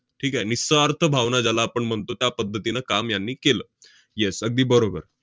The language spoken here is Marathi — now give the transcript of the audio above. ठीक आहे. निस्वार्थ भावना ज्याला आपण म्हणतो, त्यापध्दतीनं काम यांनी केलं. yes अगदी बरोबर.